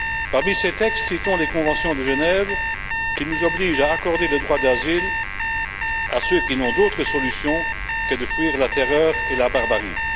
Parmi ces textes, citons les conventions de Genève, qui nous obligent à accorder le droit d'asile à ceux qui n'ont d'autre solution que de fuir la terreur et la barbarie.